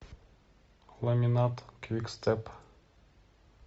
ламинат квикстеп